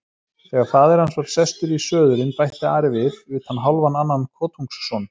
Þegar faðir hans var sestur í söðulinn bætti Ari við:-Utan hálfan annan kotungsson.